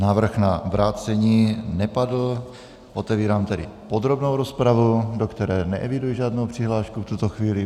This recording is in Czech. Návrh na vrácení nepadl, otevírám tedy podrobnou rozpravu, do které neeviduji žádnou přihlášku v tuto chvíli.